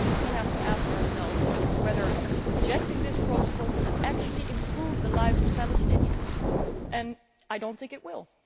We have to ask ourselves whether rejecting this Protocol would actually improve the lives of Palestinians and I do not think it will.